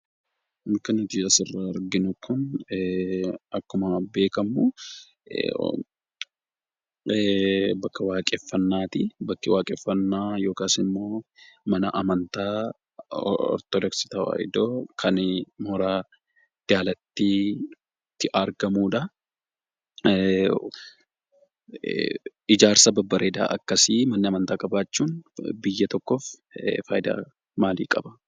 Bakki nuti asirraa arginu kun akkuma beekamu bakka waaqeffannaati. Bakki waaqeffannaa yookaan mana amantaa Ortodoksii tawaahidoo kan mooraa daalattiitti argamuudha. Ijaarsa babbareedaa akkasii manni amantaa qabaachuun biyyaaf faayidaa maalii qabaa?